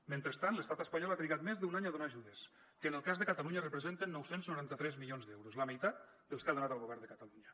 mentrestant l’estat espanyol ha trigat més d’un any a donar ajudes que en el cas de catalunya representen nou cents i noranta tres milions d’euros la meitat dels que ha donat el govern de catalunya